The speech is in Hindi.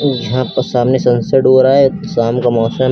यहां पर सामने सनसेट हो रहा है शाम का मौसम--